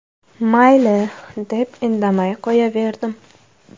Mayli, deb indamay qo‘yaverdim.